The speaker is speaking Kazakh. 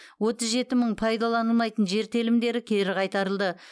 отыз жеті мың пайдаланылмайтын жер телімдері кері қайтарылды